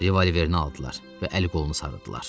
Revolverini aldılar və əli-qolunu sarıdılar.